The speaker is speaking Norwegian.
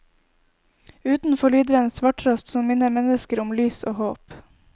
Utenfor lyder en svarttrost som minner mennesker om lys og håp.